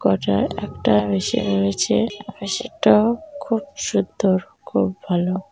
কোয়াটায় একটা মেশিন রয়েছে । আর সেটাও খুব সুন্দর খুব ভালো ।